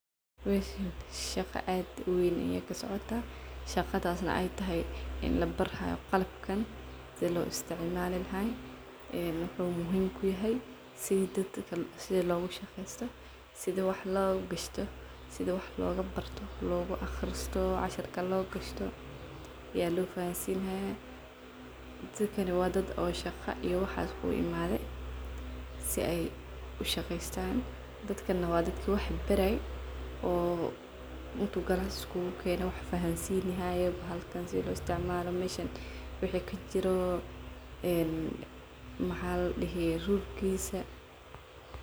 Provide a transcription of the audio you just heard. Meshan shaqa ad uweyn ayaa kasocotaah. Shaqadas ay tahay in labiri hayo qalabkan sida loisticmali lahay, sidi loistocmalo aa labaraaya , mel wa mel shaqo adadkan aa labarayaa sificaanayaa lofahansinayaa , dadakan wa dad shaqa uimadhe , dadkana wa dadka wax baraye , wax fahansinayemeshan wixi kajiro ee maxaa ladihi rulkisa.